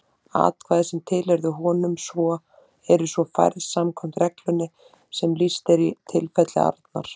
Atkvæði sem tilheyrðu honum eru svo færð samkvæmt reglunni sem lýst er í tilfelli Arnar.